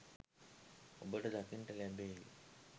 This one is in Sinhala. ඔබට දකින්නට ලැබේවි